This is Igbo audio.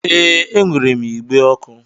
Ee, e nwere m igbe ọkụ